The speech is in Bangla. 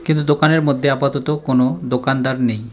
কিন্তু দোকানের মধ্যে আপাতত কোনো দোকানদার নেই।